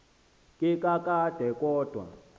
ke kakade kodwa